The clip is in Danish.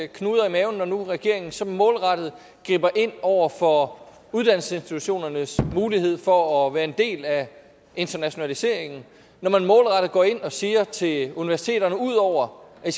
knuder i maven når nu regeringen så målrettet griber ind over for uddannelsesinstitutionernes mulighed for at være en del af internationaliseringen og når man målrettet går ind og siger til universiteterne at de udover at